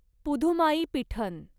पुधुमाईपीठन